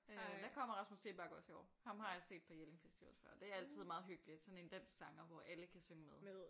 Øh der kommer Rasmus Seebach også i år ham har jeg set på Jelling festival før det er meget hyggelugt sådan en dansk sanger hvor alle kan synge med